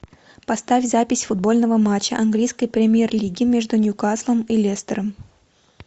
поставь запись футбольного матча английской премьер лиги между ньюкаслом и лестером